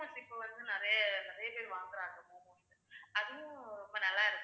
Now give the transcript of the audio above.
momos இப்ப வந்து நிறைய நிறைய பேர் வாங்குறாங்க அதுவும் ரொம்ப நல்லா இருக்கும்